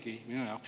Aitäh!